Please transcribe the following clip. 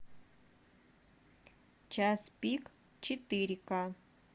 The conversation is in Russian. час пик четыре к